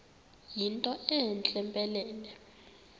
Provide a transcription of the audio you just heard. yinto entle mpelele